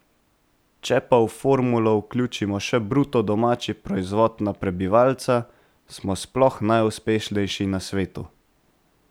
Če pa v formulo vključimo še bruto domači proizvod na prebivalca, smo sploh najuspešnejši na svetu.